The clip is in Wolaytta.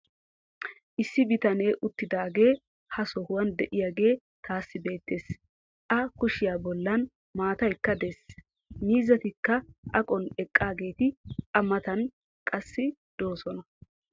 issi bitanee uttidaagee ha sohuwan diyaagee taassi beetees. a kushiya bolan maataykka des. miizzatikka aqon eqaageeti a matan qassi doosona.